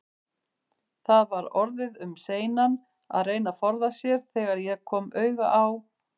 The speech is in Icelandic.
Það var orðið um seinan að reyna að forða sér, þegar ég kom auga á